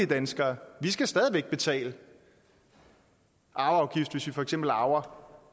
danskere vi skal stadig væk betale arveafgift hvis vi for eksempel arver